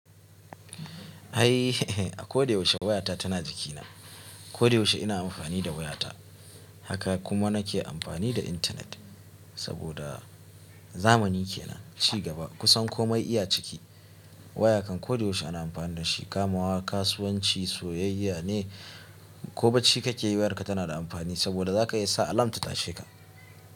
Eh a ko da yaushe wayata tana jikina. Ko da yaushe ina amfani da wayata, haka kuma nake amfani da intanet. Saboda zamani kenan, ci gaba kusan komai iya ciki. Waya kan ko da yaushe ana amfani da shi, kamawa, kasuwanci, soyayya ne. Ko bacci kake yi wayarka tana da amfani saboda zaka iya sa alarm ta tashe ka.